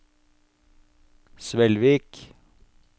Svelvik